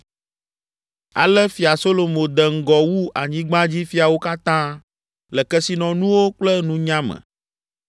Ale Fia Solomo de ŋgɔ wu anyigbadzifiawo katã le kesinɔnuwo kple nunya me.